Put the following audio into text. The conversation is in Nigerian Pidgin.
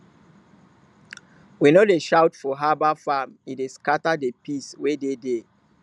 we no dey shout for herbal farm e dey scatter the peace wey dey there